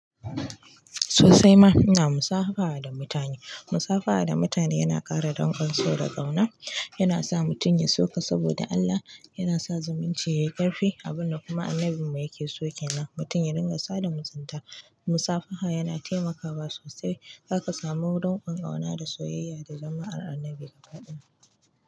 Sosai ma, ina musafaha da mutane. Musafaha da mutane yana ƙara danƙon so da ƙauna, yana sa mutum ya so ka saboda Allah, yana sa zumunci yayi ƙarfi, abun da kuma Annabinmu yake so kenan mutum ya dinga sada da mutunta. Musafaha yana taimakawa sosai, zaka samu danƙo ƙauna da soyayya da zama'ar Annabi kafadin.